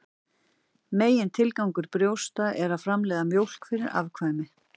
Megintilgangur brjósta er að framleiða mjólk fyrir afkvæmi.